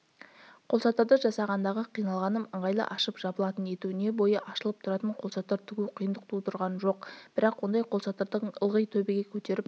қолшатырды жасағандағы қиналғаным ыңғайлы ашып-жабылатын ету не бойы ашылып тұратын қолшатыр тігу қиындық тудырған жоқ бірақ ондай қолшатырды ылғи төбеңе көтеріп